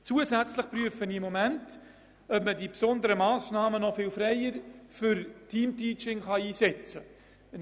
Zusätzlich prüfe ich im Moment, ob man diesen Pool für besondere Massnahmen viel freier fürs Teamteaching einsetzen kann.